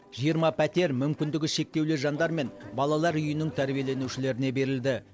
жиырма пәтер мүмкіндігі шектеулі жандар мен балалар үйінің тәрбиеленушілеріне берілді